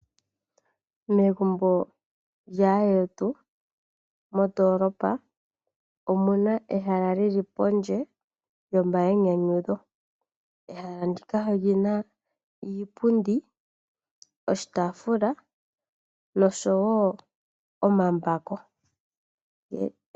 Megumbo lyaandjetu mondoolopa omuna ehala lili pondje lyo mayinyanyudho. Ehala ndika olyina iipundi, oshitaafula nosho wo omambako.